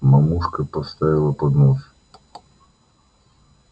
мамушка поставила поднос